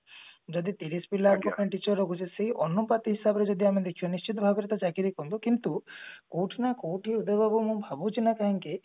ଯଦି ତିରିଶି ପିଲାଙ୍କ ପାଇଁ teacher ରଖୁଛେ ସେଇ ଅନୁପାତରେ ଆମେ ଯଦି ଦେଖିବା ନିଶ୍ଚିନ୍ତ ଭାବରେ ଚାକିରି ଦେଖନ୍ତୁ କିନ୍ତୁ କୋଉଠି ନା କୋଉଠି ମୁଁ ଭାବୁଛି ନା କୋଉଠି